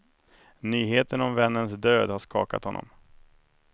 Nyheten om vännens död har skakat honom.